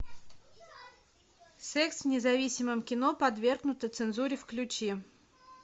секс в независимом кино подвергнуто цензуре включи